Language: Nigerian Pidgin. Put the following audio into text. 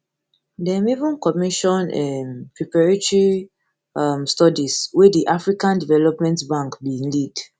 dem even commission um preparatory um studies wey di african development bank bin lead